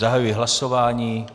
Zahajuji hlasování.